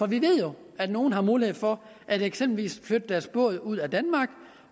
vi ved jo at nogle har mulighed for eksempelvis at flytte deres båd ud af danmark